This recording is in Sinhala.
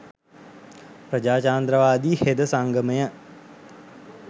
ප්‍රජාතන්ත්‍රවාදී හෙද සංගමය,